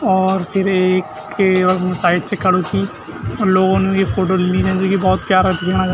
और फिर एक के वखम साइड से खडू चि उन लोगोन ई फोटो ली छन जू की भोत प्यारा दिखणा छन।